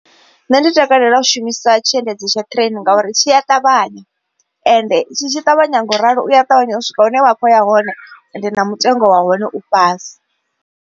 Nṋe ndi takalela u shumisa tshiendedzi tsha train ngauri tshi a ṱavhanya. Ende tshi tshi ṱavhanya ngauralo uya ṱavhanya u swika hune wa kho ya hone ende na mutengo wa hone u fhasi.